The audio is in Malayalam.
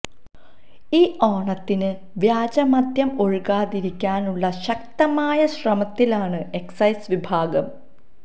ഈ ഓണത്തിന് വ്യാജ മദ്യം ഒഴുകാതിരിക്കാനുള്ള ശക്തമായ ശ്രമത്തിലാണ് എക്സൈസ് വിഭാഗം